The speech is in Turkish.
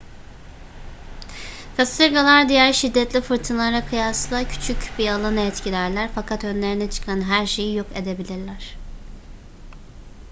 kasırgalar diğer şiddetli fırtınalara kıyasla küçük bir alanı etkilerler fakat önlerine çıkan her şeyi yok edebilirler